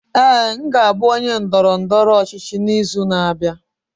Ee, m ga-abụ onye ndọrọ ndọrọ ọchịchị n'izu na-abịa.